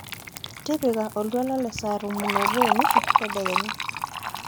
tipika oltwala le saa tomon oobo onusu tadekenya